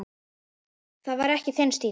Það var ekki þinn stíll.